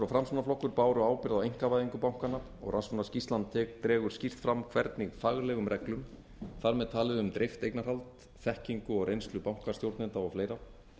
og framsóknarflokkur báru ábyrgð á einkavæðingu bankanna og rannsóknarskýrslan dregur skýrt fram hvernig faglegum reglum þar með talið um dreift eignarhald þekkingu og reynslu bankastjórnenda og fleira